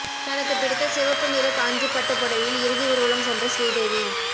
தனக்கு பிடித்த சிவப்பு நிற காஞ்சிப்பட்டுப் புடவையில் இறுதி ஊர்வலம் சென்ற ஸ்ரீதேவி